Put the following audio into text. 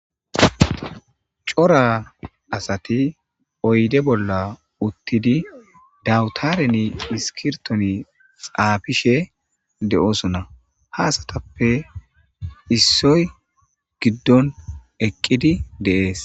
Cora asati oyde bolla uttidi dawutareni iskirtoni xaafishe de'oosona ha asatappe issoy giddon eqqidi deees.